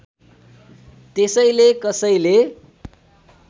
त्यसैले कसैले